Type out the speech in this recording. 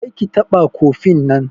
Kar ki taɓa kofin nan!